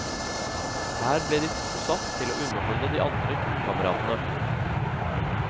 Her ble de to satt til å underholde de andre turkameratene.